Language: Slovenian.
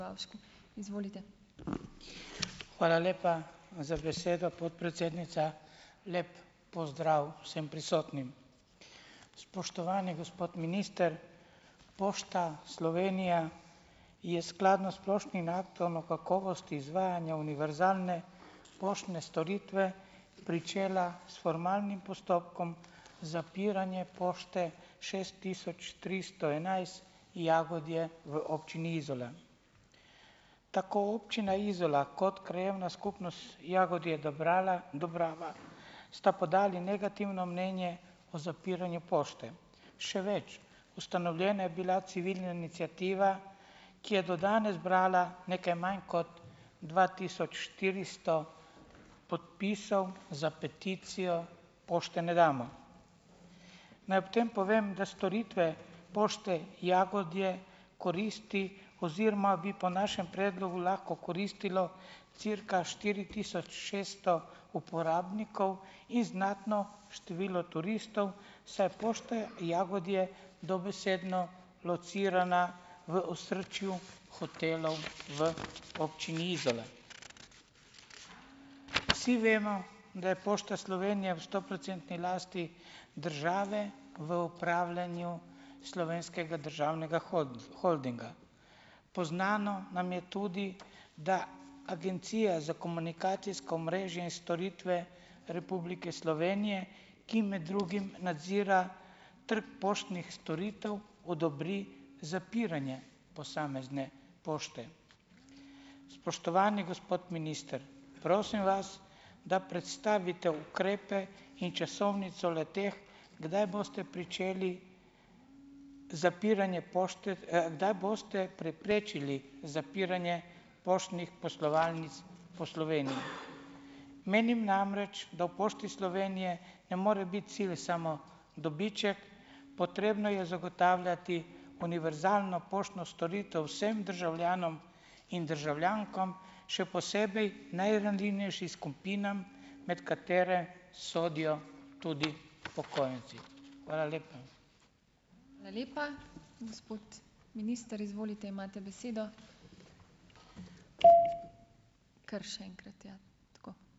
Hvala lepa za besedo, podpredsednica. Lep pozdrav vsem prisotnim. Spoštovani gospod minister, Pošta Slovenija je skladno s splošnim aktom o kakovosti izvajanja univerzalne poštne storitve pričela s formalnim postopkom zapiranja pošte šest tisoč tristo enajst Jagodje v občini Izola. Tako občina Izola kot krajevna skupnost Jagodje - Dobrava sta podali negativno mnenje o zapiranju pošte. Še več, ustanovljena je bila civilna iniciativa, ki je do danes zbrala nekaj manj kot dva tisoč štiristo podpisov za peticijo Pošte ne damo. Naj ob tem povem, da storitve pošte Jagodje koristi oziroma bi po našem predlogu lahko koristilo cirka štiri tisoč šeststo uporabnikov in znatno število turistov, saj je pošta Jagodje dobesedno locirana v osrčju hotelov v občini Izola. Vsi vemo, da je Pošta Slovenije v stoprocentni lasti države v upravljanju Slovenskega državnega holdinga. Poznano nam je tudi, da Agencija za komunikacijsko omrežje in storitve Republike Slovenije, ki med drugim nadzira trg poštnih storitev odobri zapiranje posamezne pošte. Spoštovani gospod minister, prosim vas, da predstavite ukrepe in časovnico le-teh, kdaj boste pričeli z zapiranjem kdaj boste preprečili zapiranje poštnih poslovalnic po Sloveniji. Menim namreč, da v Pošti Slovenije ne more biti cilj samo dobiček, potrebno je zagotavljati univerzalno poštno storitev vsem državljanom in državljankam, še posebej najranljivejšim skupinam, med katere sodijo tudi upokojenci. Hvala lepa.